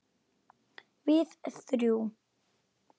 Við þrjú.